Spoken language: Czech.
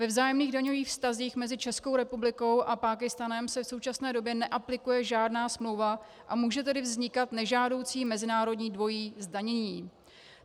Ve vzájemných daňových vztazích mezi Českou republikou a Pákistánem se v současné době neaplikuje žádná smlouva, a může tedy vznikat nežádoucí mezinárodní dvojí zdanění.